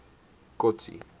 kotsi